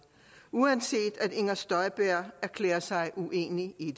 uanset at inger støjberg erklærer sig uenig i